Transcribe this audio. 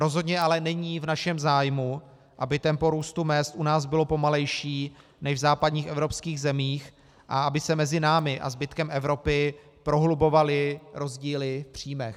Rozhodně ale není v našem zájmu, aby tempo růstu mezd u nás bylo pomalejší než v západních evropských zemích a aby se mezi námi a zbytkem Evropy prohlubovaly rozdíly v příjmech.